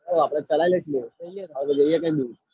હાઓ આપડ ચલૈં લઈશુ. જોઈએ હા જોઈએ કમ નઈ.